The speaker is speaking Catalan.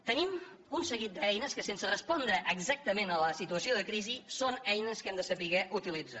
tenim un seguit d’eines que sense respondre exactament a la situació de crisi són eines que hem de saber utilitzar